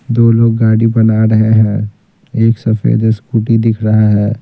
दो लोग गाड़ी बना रहे हैं एक सफेद स्कूटी दिख रहा है।